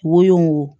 Wo wo